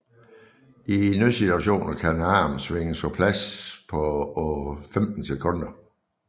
I nødsituationer kan armen svinges på plads på 15 sekunder